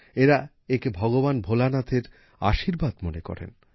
এঁরা একে ভগবান ভোলানাথের আশীর্বাদ মনে করেন